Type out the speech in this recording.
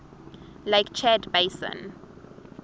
lake chad basin